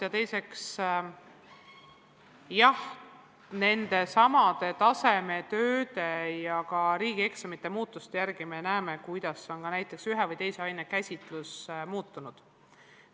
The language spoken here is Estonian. Ja teiseks, jah, nendesamade tasemetööde ja riigieksamite muudatuste järgi me näeme, kuidas on ühe või teise aine käsitlus muutunud.